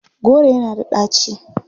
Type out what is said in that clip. Kolanut is bitter.